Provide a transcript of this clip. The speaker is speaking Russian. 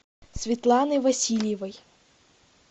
светланой васильевой